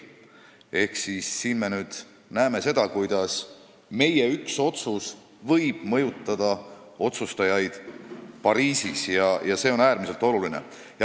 Seega me näeme, kuidas üks meie otsus võib mõjutada otsustajaid Pariisis, ja see on äärmiselt oluline.